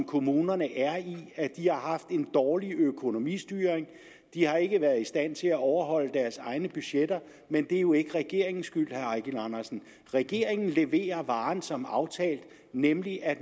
kommunerne er i de har haft en dårlig økonomistyring og de har ikke været i stand til at overholde deres egne budgetter men det er jo ikke regeringens skyld herre eigil andersen regeringen leverer varen som aftalt nemlig at